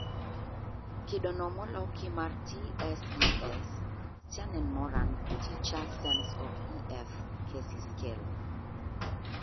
Kido no moloki mar TSES( Tschannen - Moran � s Teacher Sense of Ef ? cacy Scale )